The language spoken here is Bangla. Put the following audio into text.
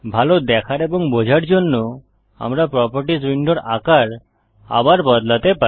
ভাল দেখার এবং বোঝার জন্য আমাদের প্রোপার্টিস উইন্ডোর আকার আবার বদলাতে হবে